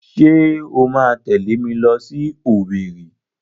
Ṣé o máa tẹ̀lé mi lọ sí Owerri?